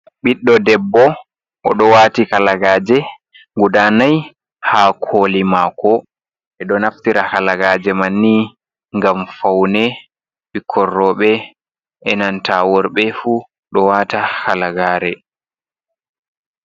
Ɓiɗdo debbo odo wati Halagaje gudanai ha koli mako, ɓedo naftira Halagaje manni gam faune, bikkon rouɓe enanta worɓe fu do wata Halagare.